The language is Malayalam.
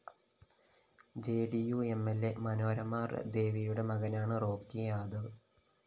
ജെഡിയു എം ൽ അ മനോരമ ദേവിയുടെ മകനാണ് റോക്കി യാദവ്